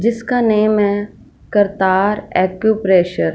जिसका नेम है करतार एक्यूप्रेशर--